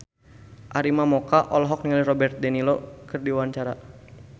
Arina Mocca olohok ningali Robert de Niro keur diwawancara